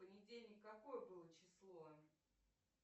понедельник какое было число